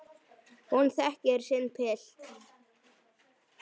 Hún þekkir sinn pilt.